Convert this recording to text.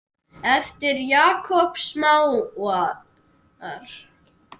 eftir Jakob Smára